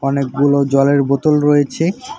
অনেকগুলো জলের বোতল রয়েছে।